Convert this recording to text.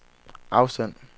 afsend